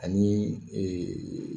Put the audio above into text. Ani ee